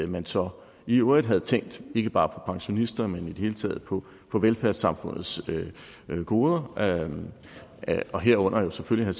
man så i øvrigt havde tænkt ikke bare på pensionisterne men hele taget på på velfærdssamfundets goder og og herunder selvfølgelig